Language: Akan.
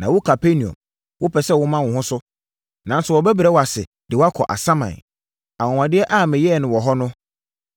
Na wo Kapernaum, wopɛ sɛ woma wo ho so, nanso wɔbɛbrɛ wo ase de wo akɔ asaman. Anwanwadeɛ a meyɛɛ no wo hɔ no,